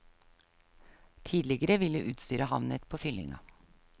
Tidligere ville utstyret havnet på fyllinga.